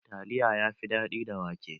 Taliya yafi daɗi da wake.